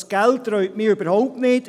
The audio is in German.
Dieses Geld reut mich überhaupt nicht;